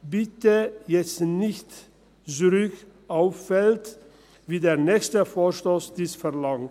Bitte jetzt nicht zurück auf Feld eins, wie der nächste Vorstoss dies verlangt.